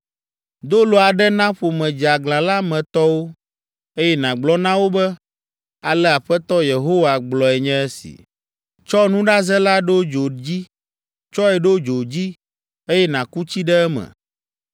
Do lo aɖe na ƒome dzeaglã la me tɔwo, eye nàgblɔ na wo be, ‘Ale Aƒetɔ Yehowa gblɔe nye si.’ “Tsɔ nuɖaze la ɖo dzo dzi, tsɔe ɖo dzo dzi, eye nàku tsi ɖe eme.